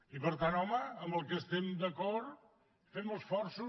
i per tant home en el que estem d’acord fem esforços